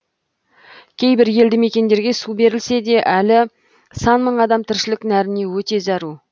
кейбір елді мекендерге су берілсе де әлі сан мың адам тіршілік нәріне өте зәру